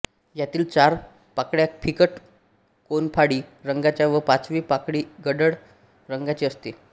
यातील चार पाकळ्या फिकट कोनफाळी रंगाच्या व पाचवी पाकळी गडद रंगाची असते